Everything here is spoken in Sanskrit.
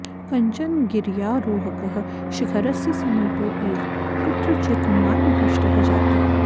कश्चन गिर्यारोहकः शिखरस्य समीपे एव कुत्रचित् मार्गभ्रष्टः जातः